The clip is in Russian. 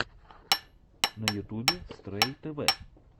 на ютубе стрэй тэвэ